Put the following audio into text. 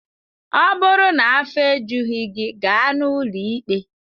Ọ bụrụ na afọ ejughị gị, gaa n'ụlọ ikpe!